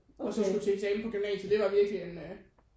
Og så skulle til eksamen på gymnasiet det var virkelig en